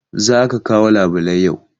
Za ka kawo labulai yau!